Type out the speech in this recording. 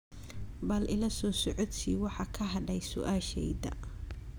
bal ila soo socodsii waxa ka hadhay su'aashayda